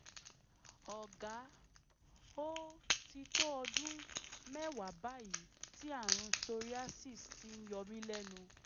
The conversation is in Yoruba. ọ̀gá ó ti tó ọdún mẹ́wàá báyìí tí àrùn psoriasis ti ń yọ mí lẹ́nu